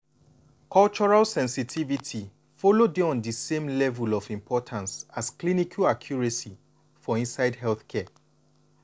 cultural sensitivity follow dey on di same level of importance as clinical accuracy for inside healthcare.